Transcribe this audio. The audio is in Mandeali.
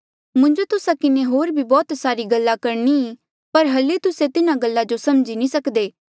मुंजो तुस्सा किन्हें होर भी बौह्त सारी गल्ला करणी पर हल्ली तुस्से तिन्हा गल्ला जो समझ नी सक्दे